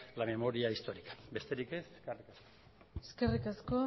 la memoria histórica besterik ez eskerrik asko